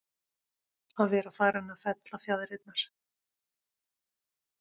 Að vera farinn að fella fjaðrirnar